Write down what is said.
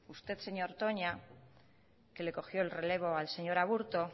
usted señor toña que le cogió el relevo al señor aburto